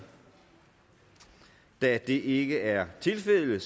da det ikke er tilfældet